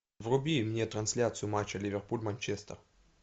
вруби мне трансляцию матча ливерпуль манчестер